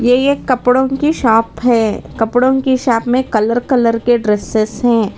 यह एक कपड़ों की शॉप है कपड़ों की शॉप में कलर कलर के डड्रेसेस हैं।